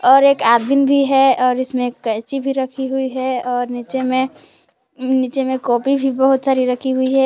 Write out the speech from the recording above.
और एक आदमी भी है और इसमें कैची भी रखी हुई है और नीचे में नीचे में कॉपी भी बहुत सारी रखी हुई है।